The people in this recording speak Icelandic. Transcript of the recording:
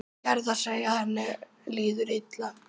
Gerðar þegar henni líður illa.